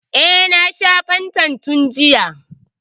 E, na sha fantan tun jiya.